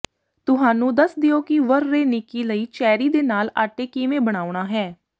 ਤੁਹਾਨੂੰ ਦੱਸ ਦਿਓ ਕਿ ਵਰਰੇਨੀਕੀ ਲਈ ਚੈਰੀ ਦੇ ਨਾਲ ਆਟੇ ਕਿਵੇਂ ਬਣਾਉਣਾ ਹੈ